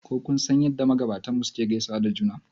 Ko kun san yadda magabatanmu suke gaisawa da juna